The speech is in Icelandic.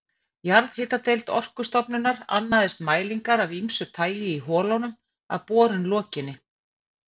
Jarðhitadeild Orkustofnunar annaðist mælingar af ýmsu tagi í holunum að borun lokinni.